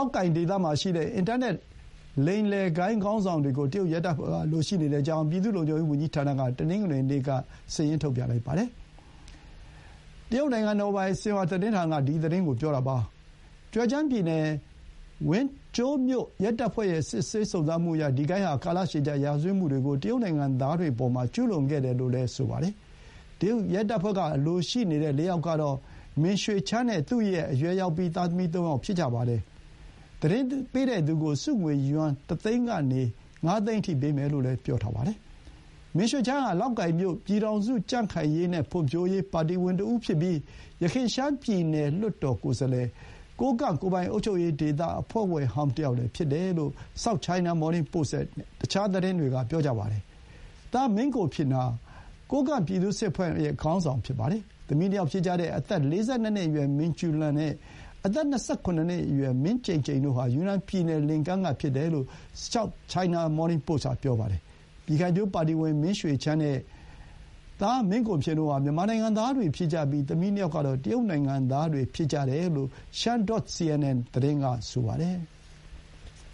ာက်ကိုင်ဒေသမှာရှိတဲ့ အင်တာနက် လိမ်လည်ဂိုဏ်းခေါင်းဆောင်တွေကို တရုတ်ရဲတပ်ဖွဲ့ကအလိုရှိနေကြောင်း ပြည်သူ့လုံခြုံရေးဝန်ကြီးဌာနက တနင်္ဂနွေနေ့က စာရင်းထုတ်ပြန်လိုက်တယ်လို့ တရုတ်နိုင်ငံတော်ပိုင် ဆင်ဟွာသတင်းဌာနက ပြောပါတယ်။ ကျဲကျန်းပြည်နယ် ဝန်ကျိုးမြို့ ရဲတပ်ဖွဲ့ရဲ့ စစ်ဆေးစုံစမ်းမှုအရ ဒီဂိုဏ်းဟာ ကာလရှည်ကြာရာဇဝတ်မှုတွေကို တရုတ်နိုင်ငံသားတွေအပေါ် ကျူးလွန်ခဲ့တယ်လို့ ဆိုပါတယ်။ တရုတ်ရဲတပ်ဖွဲ့က အလိုရှိနေတဲ့ ၄ ယောက်ကတော့ မင်ရွှေချမ်း Ming Xuechang နဲ့ သူ့ ရဲ့အရွယ်ရောက်ပြီး သားသမီးသုံးယောက် ဖြစ်ကြပါတယ်။ သတင်းပေးတဲ့သူကို ဆုငွေယွမ် ၁ သိန်းကနေ ၅ သိန်းအထိပေးမယ်လို့ ဆိုပါတယ်။ မင်ရွှေချမ်းဟာ လောက်ကိုင်မြို့ ပြည်ထောင်စု ကြံ့ခိုင်ရေးနဲ့ ဖွံ့ဖြိုးရေး ပါတီဝင်တဦးဖြစ်ပြီး ယခင် ရှမ်းပြည်နယ်လွှတ်တော် ကိုယ်စားလှယ်၊ ကိုးကန့်ကိုယ်ပိုင်အုပ်ချုပ်ရေး ဒေသ အဖွဲ့ဝင်ဟောင်းတယောက်လည်း ဖြစ်တယ်လို့ South China Morning Post နဲ့ တခြား သတင်းတွေက ဆိုပါတယ်။ သား မင်ကိုဖျင်ဟာ ကိုးကန့်ပြည်သူ့စစ်အဖွဲ့ရဲ့ ခေါင်းဆောင်ဖြစ်ပါတယ်။ သမီး ၂ ယောက်ဖြစ်ကြတဲ့ အသက် ၄၂ နှစ်အရွယ် မင်ကျူးလန်နဲ့ အသက် ၂၇ နှစ်အရွယ် မင်ကျိန်ကျိန် တို့ဟာ ယူနန်ပြည်နယ် လင်ကန်းကဖြစ်တယ်လို့ South China Morning Post က ဆိုပါတယ်။ ပြည်ခိုင်ဖြိုးပါတီဝင် မင်ရွှေချမ်းနဲ့ သားမင်ကိုဖျင်တို့ဟာ မြန်မာနိုင်ငံသားတွေ ဖြစ်ကြပြီး သမီး ၂ ယောက်ကတော့ တရုတ်နိုင်ငံသားတွေ ဖြစ်ကြတယ်လို့ shine.cn သတင်း က ဆိုပါတယ်။